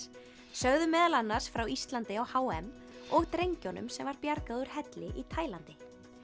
sögðum meðal annars frá Íslandi á h m og drengjunum sem var bjargað úr helli í Taílandi